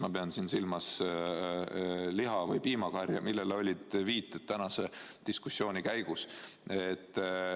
Ma pean siin silmas liha- või piimakarja, millele viidati tänase diskussiooni käigus.